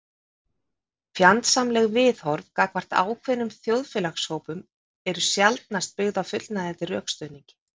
fjandsamleg viðhorf gagnvart ákveðnum þjóðfélagshópum eru sjaldnast byggð á fullnægjandi rökstuðningi